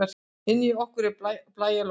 Inni hjá okkur er blæjalogn.